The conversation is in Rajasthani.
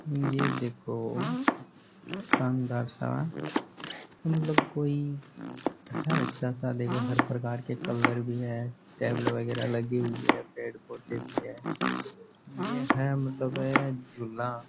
ये देखो शानदार सा मतलब कोई है अच्‍छा सा देखो हर प्रकार के कलर भी हैं टेबल वगैरह लगी हुई है पेड़-पौधे भी है ये है मतलब है झूला।